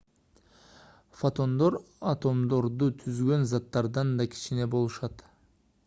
фотондор атомдорду түзгөн заттардан да кичине болушат